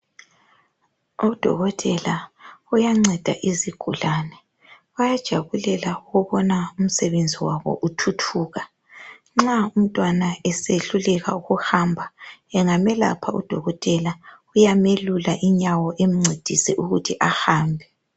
Udokotela uyanceda izigulane. Bayajabulela ukubona umsebenzi wabo uthuthuka. Nxa umntwana esehluleka ukuhamba, engamelapha udokotela uyamelula inyawo amncedise ukuthi ahambe.